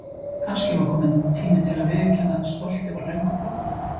Kannski var tími til kominn að viðurkenna að stoltið var löngu brotnað.